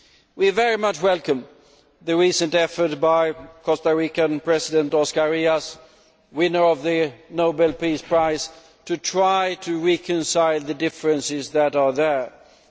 We very much welcome the recent effort by Costa Rican President Oscar Arias, winner of the Nobel Peace Prize, to try to reconcile the differences that exist.